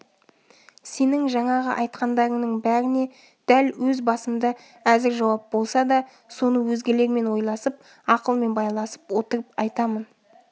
сенің жаңағы айтқандарыңның бәріне дәл өз басымда әзір жауап болса да соны өзгелермен ойласып ақылмен байласып отырып айтамын